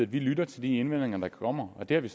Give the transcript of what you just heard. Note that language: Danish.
vi lytter til de indvendinger der kommer og det har vi